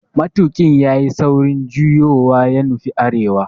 Matuƙin yayi saurin juyowa ya nufi arewa